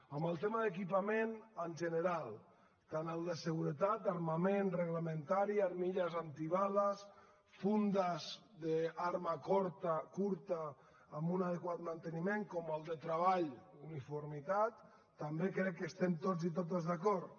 en el tema d’equipament en general tant el de seguretat armament reglamentari armilles antibales fundes d’arma curta amb un adequat manteniment com el de treball uniformitat també crec que estem tots i totes d’acord